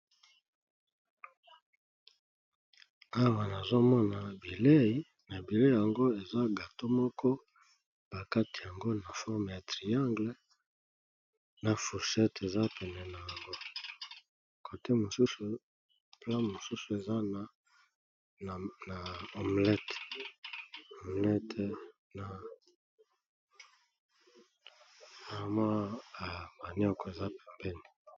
Awa na moni bilei, papa moko akati yango sous forme ya triangle, na fourchette eza pembeni, na omelette eza pembeni.